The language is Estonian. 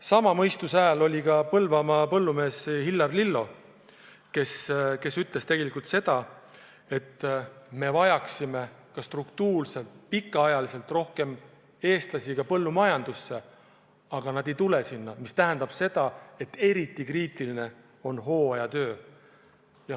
Samasugune mõistuse hääl on Põlvamaa põllumees Hillar Lillo, kes ütles tegelikult seda, et me vajame struktuurselt ja pikaajaliselt rohkem eestlasi põllumajandusse, aga nad ei tule sellesse sektorisse, mis tähendab seda, et eriti kriitiline seis on hooajatöödega.